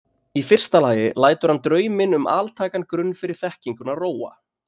Í fyrsta lagi lætur hann drauminn um altækan grunn fyrir þekkinguna róa.